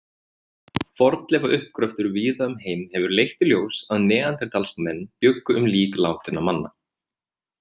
Fornleifauppgröftur víða um heim hefur leitt í ljós að neanderdalsmenn bjuggu um lík látinna manna.